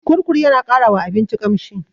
Kurkur yana ƙara wa abinci ƙamshi.